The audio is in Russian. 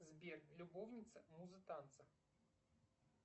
сбер любовница муза танца